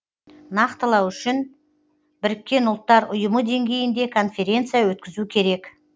нақтылау үшін біріккен ұллтар ұйымынде деңгейінде конференция өткізу керек